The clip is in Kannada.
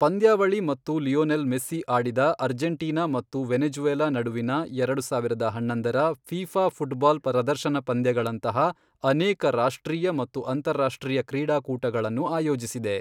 ಪಂದ್ಯಾವಳಿ ಮತ್ತು ಲಿಯೋನೆಲ್ ಮೆಸ್ಸಿ ಆಡಿದ ಅರ್ಜೆಂಟೀನಾ ಮತ್ತು ವೆನೆಜು಼ವೆಲಾ ನಡುವಿನ ಎರಡು ಸಾವಿರದ ಹನ್ನೊಂದರ ಫೀಫಾ ಫುಟ್ಬಾಲ್ ಪ್ರದರ್ಶನ ಪಂದ್ಯಗಳಂತಹ ಅನೇಕ ರಾಷ್ಟ್ರೀಯ ಮತ್ತು ಅಂತರಾಷ್ಟ್ರೀಯ ಕ್ರೀಡಾಕೂಟಗಳನ್ನು ಆಯೋಜಿಸಿದೆ.